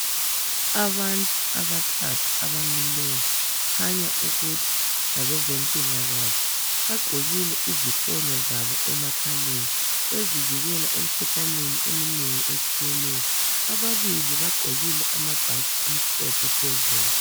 Abantu abathathu abamileyo kukhanya ukuthi ngabezempilakahle bagqokile izifonyo zabo emakhaleni bezivikela emikhuhlaneni eminengi etshiyeneyo ababili bagqokile amabhatshi amhlophe phezulu.